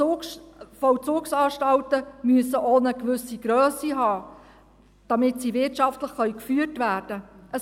Die Vollzugsanstalten müssen auch eine gewisse Grösse haben, damit sie wirtschaftlich geführt werden können.